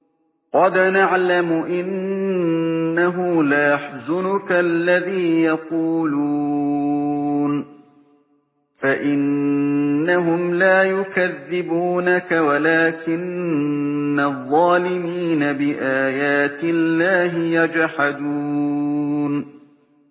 قَدْ نَعْلَمُ إِنَّهُ لَيَحْزُنُكَ الَّذِي يَقُولُونَ ۖ فَإِنَّهُمْ لَا يُكَذِّبُونَكَ وَلَٰكِنَّ الظَّالِمِينَ بِآيَاتِ اللَّهِ يَجْحَدُونَ